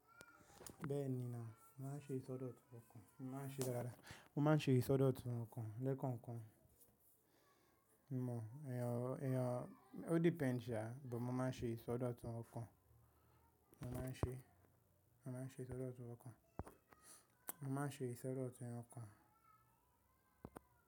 Bẹ́ẹ̀ni ná, màá ṣe ìsọdọ̀tun ọkàn, màá ṣe rárá, mo máa ṣe ìsọdọ̀tun ọkàn lẹ́kọ̀ọ̀kan. Emò eeyan ó, o depend sàá, but mo máa n ṣe ìsọdọ̀tun ọkàn. Mo máa ń ṣe, mo máa ń ṣe ìsọdọ̀tun ọkàn. Mo máa ń ṣe ìsọdọ̀tun ọkàn.